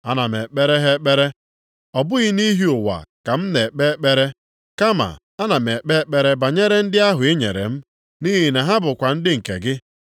Ana m ekpere ha ekpere, ọ bụghị nʼihi ụwa ka m na-ekpe ekpere. Kama ana m ekpe ekpere banyere ndị ahụ i nyere m, nʼihi na ha bụkwa ndị nke gị.